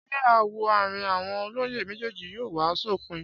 Ṣé aáwọ̀ àárín àwọn olóyè méjèèjì yóò wá sópin?